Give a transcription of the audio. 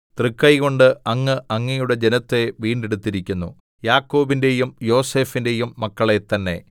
തൃക്കൈകൊണ്ട് അങ്ങ് അങ്ങയുടെ ജനത്തെ വീണ്ടെടുത്തിരിക്കുന്നു യാക്കോബിന്റെയും യോസേഫിന്റെയും മക്കളെ തന്നെ സേലാ